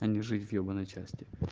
а не жизнь в ебанной части